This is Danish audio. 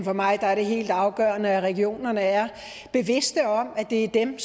for mig er det helt afgørende at regionerne er bevidste om at det er dem